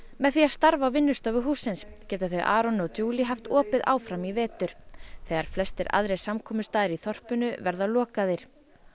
með því að starfa á vinnustofu hússins geta þau Aron og haft opið áfram í vetur þegar flestir aðrir samkomustaðir í þorpinu verða lokaðir